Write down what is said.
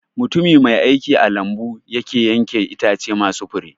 Mutumi mai aiki a lambu yake yanke Itace masu Fure